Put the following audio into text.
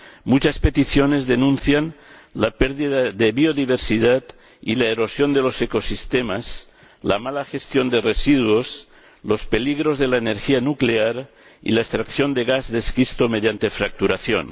Muchas peticiones denuncian la pérdida de biodiversidad y la erosión de los ecosistemas, la mala gestión de residuos, los peligros de la energía nuclear y la extracción de gas de esquisto mediante fracturación.